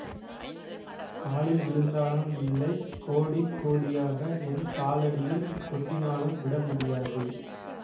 காலில் விழுந்தாலும் இல்லை கோடி கோடியாக என் காலடியில் கொட்டினாலும் விடமுடியாது